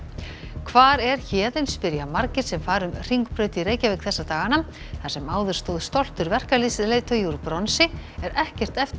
hvar er Héðinn spyrja margir sem fara um Hringbraut í Reykjavík þessa dagana þar sem áður stóð stoltur verkalýðsleiðtogi úr bronsi er ekkert eftir